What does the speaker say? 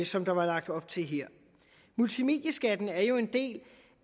som der var lagt op til her multimedieskatten er jo en del